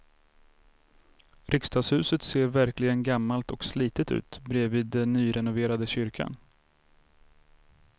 Riksdagshuset ser verkligen gammalt och slitet ut bredvid den nyrenoverade kyrkan.